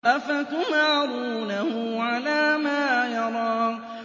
أَفَتُمَارُونَهُ عَلَىٰ مَا يَرَىٰ